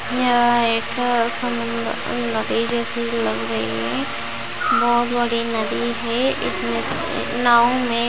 यहाँ एक समुन्दर नदी जैसी लग रही है बहुत बड़ी नदी है एक नद एक नाव में --